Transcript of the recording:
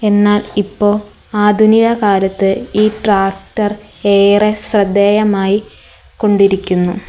എന്നാൽ ഇപ്പോ ആധുനിക കാലത്ത് ഈ ട്രാക്ടർ ഏറെ ശ്രദ്ധേയമായി കൊണ്ടിരിക്കുന്നു.